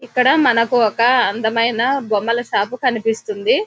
ఇక్కడ మనకు ఒక అందమైన బొమ్మలు షాపు కనిపిస్తుంది.